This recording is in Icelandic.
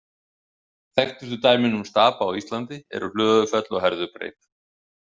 Þekktustu dæmin um stapa á Íslandi eru Hlöðufell og Herðubreið.